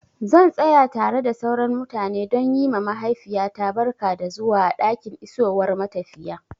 Zan tsaya tare da sauran mutane don yi ma mahaifiyata barka da zuwa a ɗakin isowar matafiya.